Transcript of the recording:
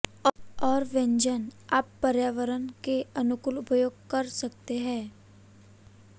और व्यंजन आप पर्यावरण के अनुकूल उपयोग कर सकते हैं